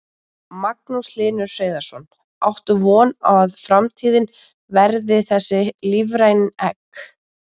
Magnús Hlynur Hreiðarsson: Áttu von á að framtíðin verði þessi, lífræn egg?